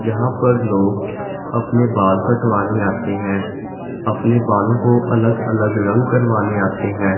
जहां पर लोग अपने बाल कटवाने आते हैं अपने बालों को अलग अलग रंग करवाने आते हैं।